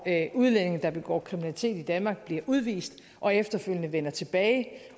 udlændinge der begår kriminalitet i danmark bliver udvist og efterfølgende vender tilbage